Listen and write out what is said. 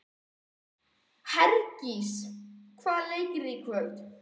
Hergils, hvaða leikir eru í kvöld?